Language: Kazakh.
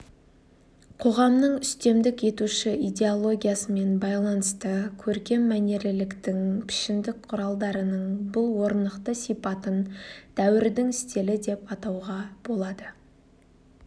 қоғамның үстемдік етуші идеологиясымен байланысты көркем мәнерліліктің пішіндік құралдарының бұл орнықты сипатын дәуірдің стилі деп атауға болады